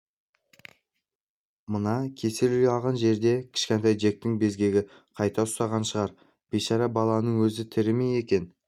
мына кесел ұялаған жерде кішкентай джектің безгегі қайта ұстаған шығар бейшара баланың өзі тірі ме екен